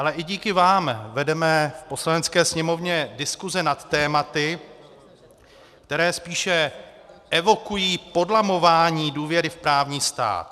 Ale i díky vám vedeme v Poslanecké sněmovně diskuse nad tématy, která spíše evokují podlamování důvěry v právní stát.